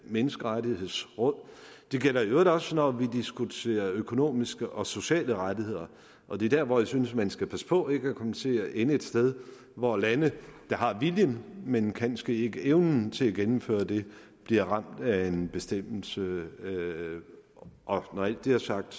menneskerettighedsråd det gælder i øvrigt også når vi diskuterer økonomiske og sociale rettigheder og det er der hvor jeg synes man skal passe på ikke at komme til at ende et sted hvor lande der har viljen men kanske ikke evnen til at gennemføre det bliver ramt af en bestemmelse og når alt det er sagt